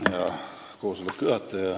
Hea juhataja!